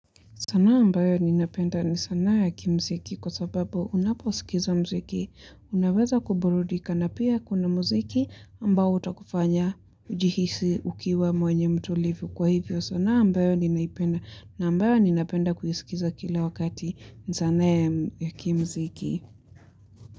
Sanaa ambayo ninapenda ni sanaa ya kimziki kwa sababu unaposikiza mziki. Unaweza kuburudika na pia kuna mziki ambao utakufanya ujihisi ukiwa mwenye mtulivu. Kwa hivyo sanaa ambayo ninaipenda na ambayo ninapenda kuisikiza kila wakati ni sanaa ya kimziki.